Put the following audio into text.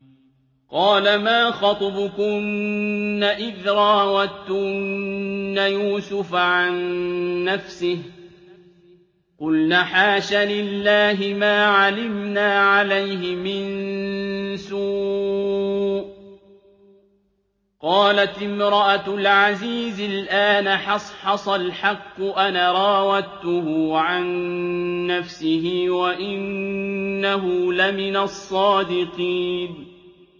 قَالَ مَا خَطْبُكُنَّ إِذْ رَاوَدتُّنَّ يُوسُفَ عَن نَّفْسِهِ ۚ قُلْنَ حَاشَ لِلَّهِ مَا عَلِمْنَا عَلَيْهِ مِن سُوءٍ ۚ قَالَتِ امْرَأَتُ الْعَزِيزِ الْآنَ حَصْحَصَ الْحَقُّ أَنَا رَاوَدتُّهُ عَن نَّفْسِهِ وَإِنَّهُ لَمِنَ الصَّادِقِينَ